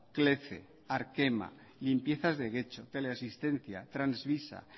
clece arkema limpiezas de getxo teleasistencia transvisa